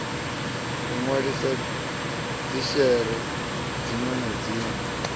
u nwalisa dzishere dzinwe na